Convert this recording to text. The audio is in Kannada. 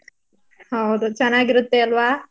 ಹೌದು ಚನಾಗಿರುತ್ತೆ ಅಲ್ವ.